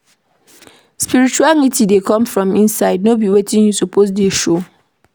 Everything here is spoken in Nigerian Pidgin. Spirituality dey come from inside, no be wetin you suppose dey show.